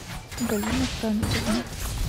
галина францевна